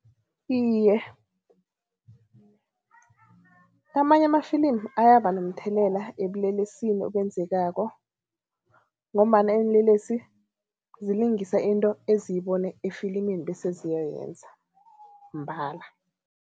Iye, amanye amafilimi ayaba nomthelela ebulelesini obenzekako ngombana iinlelesi zilingisa into eziyibona efilimini bese ziyoyenza mbala.